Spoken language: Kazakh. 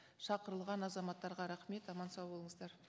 шақырылған азаматтарға рахмет аман сау болыңыздар